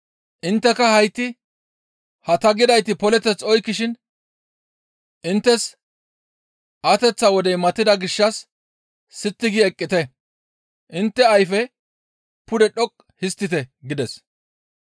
Intteka hayti ha ta gidayti poleteth oykkishin inttes ateththa wodey matida gishshas sitti gi eqqite; intte ayfe pude dhoqqu histtite» gides.